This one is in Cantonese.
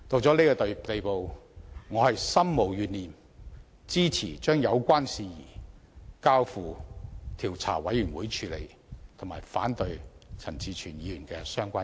事已至此，我心無懸念，支持把有關事宜交付調查委員會處理，並反對陳志全議員的相關議案。